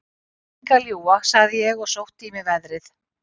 Ég er engu að ljúga, sagði ég og sótti í mig veðrið.